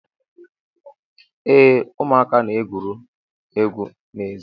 Ee, ụmụaka na-egwuri egwu n'èzí